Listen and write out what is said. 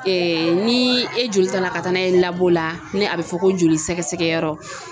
ni e joli tala ka taa n'a ye la ni a bɛ fɔ ko joli sɛgɛsɛgɛyɔrɔ